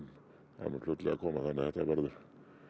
það mun fljótlega koma þannig þetta verður